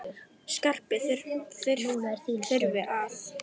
Skarpi þurfi að.